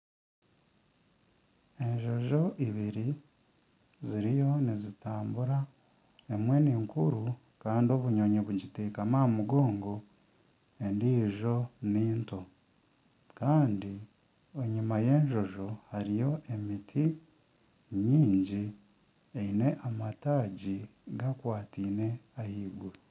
Enjojo eibiri ziriyo nizitambura emwe ni nkuru kandi obunyonyi bugiteekami aha mugongo endijo ni nto kandi enyuma y'enjojo hariyo emiti nyingi eine amataagi gakwatine ahaiguru.